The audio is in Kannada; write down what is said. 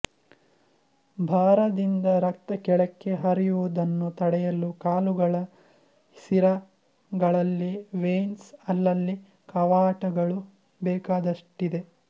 ಭಾರದಿಂದ ರಕ್ತ ಕೆಳಕ್ಕೆ ಹರಿವುದನ್ನೂ ತಡೆಯಲು ಕಾಲುಗಳ ಸಿರಗಳಲ್ಲಿ ವೇನ್ಸ್ ಅಲ್ಲಲ್ಲಿ ಕವಾಟಗಳು ಬೇಕಾದಷ್ಟಿದೆ